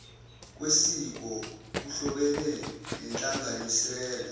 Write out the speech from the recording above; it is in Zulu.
kwesiko kuhlobene nenhlanganisela